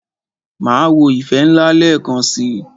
Máa wo "ìfẹ́ ńlá" lẹ́ẹ̀kan si.